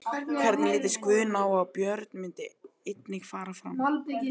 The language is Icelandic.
Hvernig litist Guðna á að Björn myndi einnig fara fram?